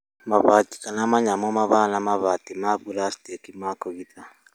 Mabati kana manyamũ mahana mabati ma buracitĩki ma kũgita.